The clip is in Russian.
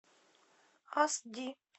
ас ди